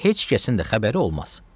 Heç kəsin də xəbəri olmaz.